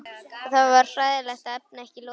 Og það er hræðilegt að efna ekki loforð.